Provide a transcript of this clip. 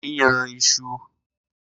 Ko ní yan isu